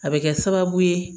A bɛ kɛ sababu ye